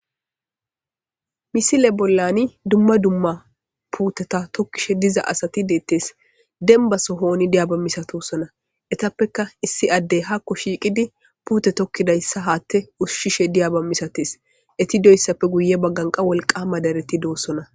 misile bollani dumma dumma puuteta tokkishe diza asati deettees denbaso hooni diyaaba misatosona etappeka issi addey hakko shiiqidi puute tokkidayssa haatte ushshishe diyaba misates etidoyssappe guye bagganqa wolqama dareti doossona